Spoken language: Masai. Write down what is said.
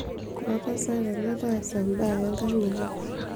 lotasat ele taasa mbaa enkang'ino